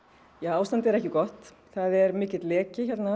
ástandið er ekki gott það er mikill leki